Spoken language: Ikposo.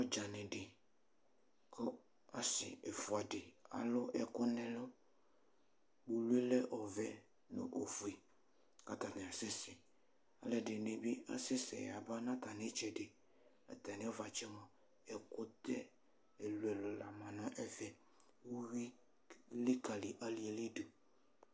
Ɔdzani di kʋ asi ɛfʋɛdi alʋ ɛkʋ nʋ ɛlʋ kpolʋ yɛlɛ ɔvɛ nʋ ofue kʋ atani asɛsɛ alʋɛdini bi asɛsɛ yaba nʋ atami itsɛdi Atami ʋvatsɛ mʋa ɛkʋtɛ ɛlʋ ɛlʋ lama nʋ ɛfɛ, uwi elikali ali yɛli dʋ